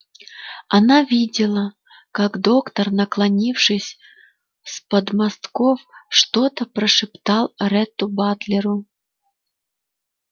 она видела как доктор наклонившись с подмостков что-то прошептал ретту батлеру